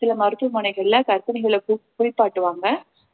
சில மருத்துவமனைகள்ல கர்ப்பிணிகள கு~ குளிப்பாட்டுவாங்க